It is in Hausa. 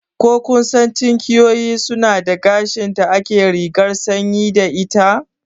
Ko kun sani tinkiyoyi suna da gashin da ake rigar sanyi da ita?